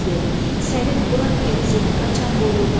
Səlim, burax getsin, qaçan qovulmaz!